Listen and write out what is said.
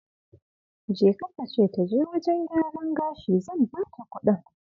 Jeka ka ce ta je wajen gyaran gashi zan bata kudin.